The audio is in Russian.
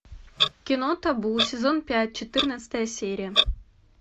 кино табу сезон пять четырнадцатая серия